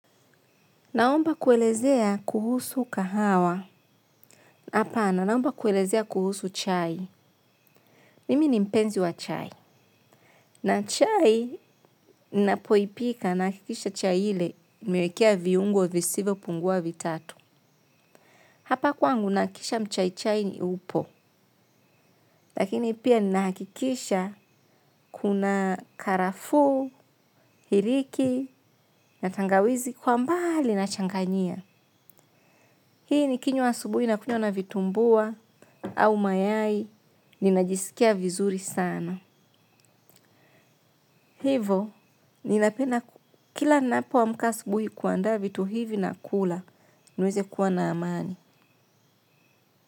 Naomba kuelezea kuhusu kahawa. Hapana naomba kuelezea kuhusu chai. Mimi nimpenzi wa chai. Na chai, napoipika nahakikisha chai ile, nimewekea viungo visivyo pungua vitatu. Hapa kwangu nahakikisha mchai chai upo. Lakini pia ninahakikisha kuna karafuu, iriki, na tangawizi kwa mbaali na changanyia. Hii ni kinywa asubuhi na kunywa na vitumbua, au mayai, ninajisikia vizuri sana. Hivo, ninapenda kila ninapo amka asubuhi kuandaa vitu hivi na kula, niweze kuwa na amani.